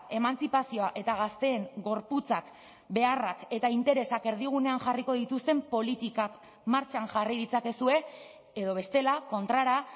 emantzipazioa eta gazteen gorputzak beharrak eta interesak erdigunean jarriko dituzten politikak martxan jarri ditzakezue edo bestela kontrara